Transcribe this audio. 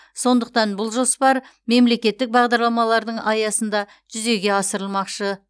сондықтан бұл жоспар мемлекеттік бағдарламалардың аясында жүзеге асырылмақшы